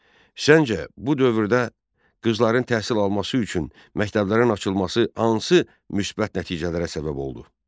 Səncə, bu dövrdə qızların təhsil alması üçün məktəblərin açılması hansı müsbət nəticələrə səbəb oldu?